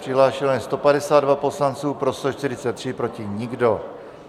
Přihlášeni jsou 152 poslanci, pro 143, proti nikdo.